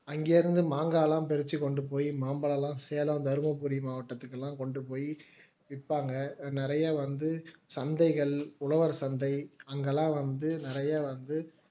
அங்கே இருந்து மாங்கா எல்லாம் பறிச்சு கொண்டு போய் மாம்பழம் எல்லாம் சேலம் தர்மபுரி மாவட்டத்திற்கு எல்லாம் கொண்டு போய் விற்பாங்க நிறைய வந்து சந்தைகள் உழவர் சந்தை அங்கெல்லாம் வந்து நிறைய வந்து